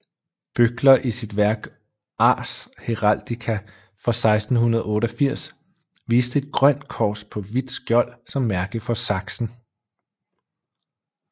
Böckler i sit værk Ars heraldica fra 1688 viste et grønt kors på hvidt skjold som mærke for Sachsen